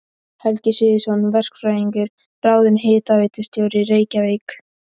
Helgi Sigurðsson verkfræðingur ráðinn hitaveitustjóri í Reykjavík.